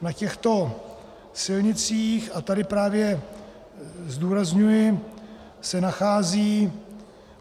Na těchto silnicích, a tady právě zdůrazňuji, se nacházejí